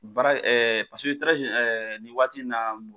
Baara paseke nin waati in na